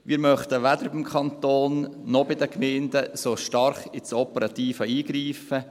Wir möchten weder beim Kanton noch bei den Gemeinden so stark ins Operative eingreifen.